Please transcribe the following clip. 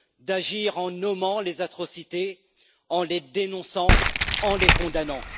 d'agir en nommant les atrocités, en les dénonçant, en les condamnant.